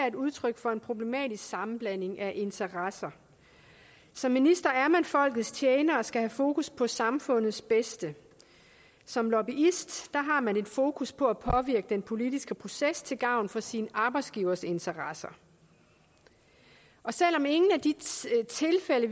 et udtryk for en problematisk sammenblanding af interesser som minister er man folkets tjener og skal have fokus på samfundets bedste som lobbyist har man et fokus på at påvirke den politiske proces til gavn for sin arbejdsgivers interesser selv om ingen af de tilfælde